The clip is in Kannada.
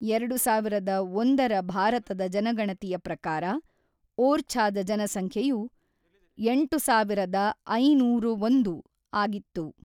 ಎರಡು ಸಾವಿರದ ಒಂದರ ಭಾರತದ ಜನಗಣತಿಯ ಪ್ರಕಾರ, ಓರ್ಛಾದ ಜನಸಂಖ್ಯೆಯು ಎಂಟು ಸಾವಿರದ ಐನೂರ ಒಂದು ಆಗಿತ್ತು.